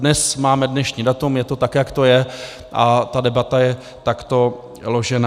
Dnes máme dnešní datum, je to tak, jak to je, a ta debata je takto ložená.